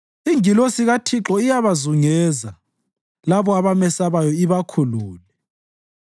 Ingilosi kaThixo iyabazungeza labo abamesabayo, ibakhulule.